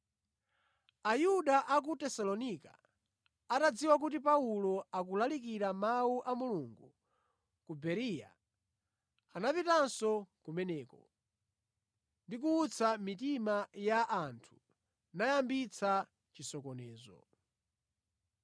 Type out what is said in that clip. Ayuda a ku Tesalonika atadziwa kuti Paulo akulalikira Mawu a Mulungu ku Bereya, anapitanso kumeneko, ndi kuwutsa mitima ya anthu nayambitsa chisokonezo.